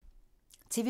TV 2